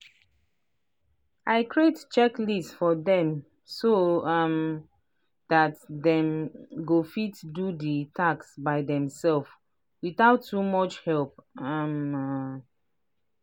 i create checklist for dem so um dat dem go fit do the task by theirselves without too much help um.